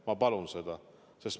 Ma palun seda!